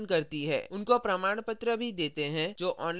उन्हें प्रमाणपत्र भी देते हैं जो online test pass करते हैं